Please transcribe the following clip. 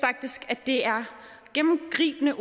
at det er gennemgribende